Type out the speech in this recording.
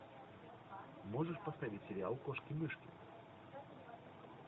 можешь поставить сериал кошки мышки